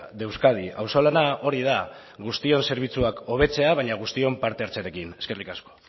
de euskadi auzolana hori da guztion zerbitzuak hobetzea baina guztion parte hartzearekin eskerrik asko